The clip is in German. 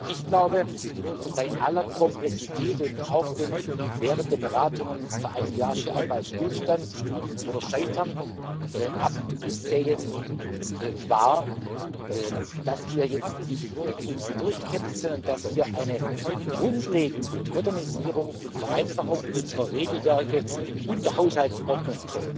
Ich glaube, bei aller Komplexität und auch, wenn während der Beratungen vor einem Jahr schon einmal Stillstand oder Scheitern abzusehen war, dass wir uns jetzt durchkämpften, und dass eine grundlegende Modernisierung und Vereinfachung unserer Regelwerke und der Haushaltsordnung